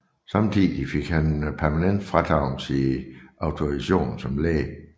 Samtidig fik han permanent frataget sin autorisation som læge